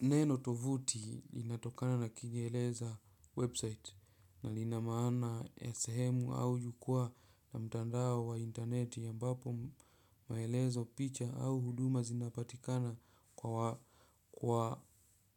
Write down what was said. Neno tovuti linatokana na kiingereza website na lina maana ya sehemu au jukwaa na mtandao wa interneti ambapo, maelezo picha au huduma zinapatikana kwa